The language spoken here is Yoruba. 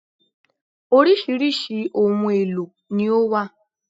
Orísirísi ohun èlò ni ó wà